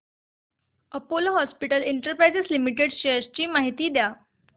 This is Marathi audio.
Apollo hospitals enterprise limited shares ची माहिती द्या